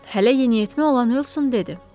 Hələ yeniyetmə olan Uson dedi.